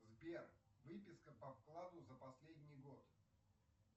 сбер выписка по вкладу за последний год